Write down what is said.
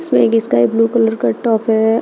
Sky blue colour का top है।